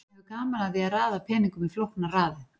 hann hefur gaman af því að raða peningum í flóknar raðir